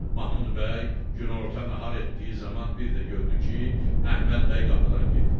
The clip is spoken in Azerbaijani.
Mahmud bəy günorta nahar etdiyi zaman bir də gördü ki, Əhməd bəy qapıdan girdi.